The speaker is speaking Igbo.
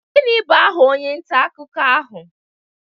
Gịnị bụ aha onye nta akụkọ ahụ?